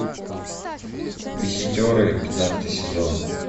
визитеры пятнадцатый сезон